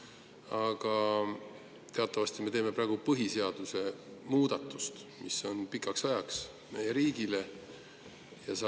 Aga teatavasti me teeme praegu meie riigi põhiseaduse muudatust, mis pikaks ajaks.